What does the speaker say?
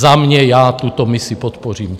Za mě - já tuto misi podpořím.